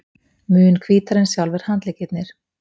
Mun hvítari en sjálfir handleggirnir.